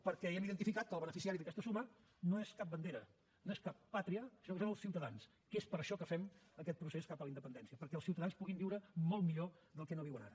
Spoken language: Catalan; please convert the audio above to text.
perquè hem identificat que el beneficiari d’aquesta suma no és cap bandera no és cap pàtria sinó que són els ciutadans que és per això que fem aquest procés cap a la independència perquè el ciutadans puguin viure molt millor del que no viuen ara